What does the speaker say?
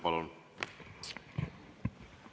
Palun!